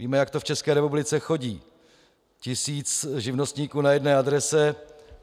Víme, jak to v České republice chodí: tisíc živnostníků na jedné adrese.